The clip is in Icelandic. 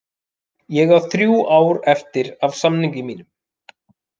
Ég á þrjú ár eftir af samningi mínum.